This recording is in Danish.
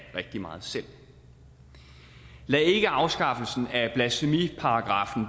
rigtig meget selv lad ikke afskaffelsen af blasfemiparagraffen